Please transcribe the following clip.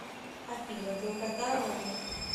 афина долгота ромны